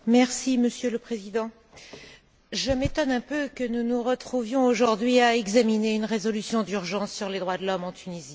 Monsieur le Président, je m'étonne un peu que nous nous retrouvions aujourd'hui à examiner une résolution d'urgence sur les droits de l'homme en Tunisie.